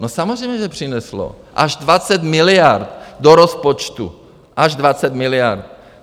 No samozřejmě že přineslo, až 20 miliard do rozpočtu, až 20 miliard.